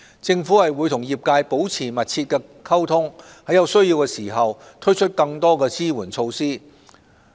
政府會和業界保持密切溝通，在有需要時推出更多支援措施。